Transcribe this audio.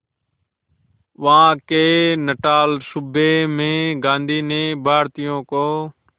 वहां के नटाल सूबे में गांधी ने भारतीयों को